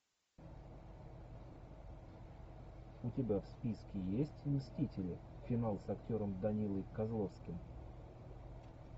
у тебя в списке есть мстители финал с актером данилой козловским